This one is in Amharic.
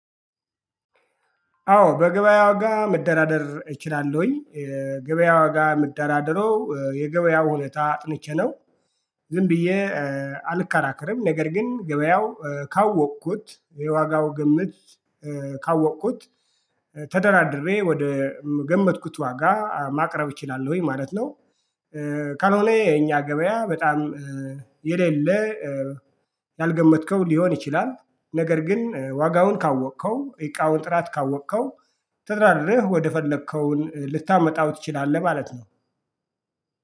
አዎ በገበያ ዋጋ መደራደር እችላለሁኝ። የገበያ ዋጋ ምደራደረው የገበያውን ሁኔታ አጥንቼ ነው። ዝም ብዬ አልከራከርም። ነገር ግን ገበያው ካወቅኩት የዋጋው ግምት ካወቅኩት ተደራድሬ ወደ ገመትኩት ዋጋ ማቅረብ እችላለሁኝ ማለት ነው። ካልሆነ የኛ ገበያ በጣም የሌለ ያልገመትከው ሊሆን ይችላል። ነገር ግን ዋጋውን ካወቅከው እቃውን ጥራት ካወቅከው ተደራድረህ ወደፈለከውን ልታመጣው ትችላለህ ማለት ነው።